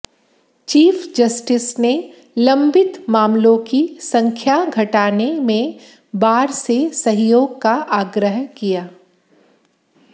chief justice ने लंबित मामलों की संख्या घटाने में बार से सहयोग का आग्रह किया